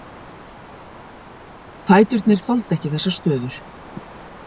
Fæturnir þoldu ekki þessar stöður.